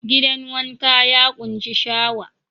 Gidan wanka ya ƙunshi shawa.